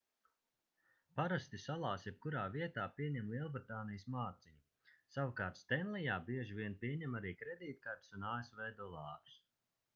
parasti salās jebkurā vietā pieņem lielbritānijas mārciņu savukārt stenlijā bieži vien pieņem arī kredītkartes un asv dolārus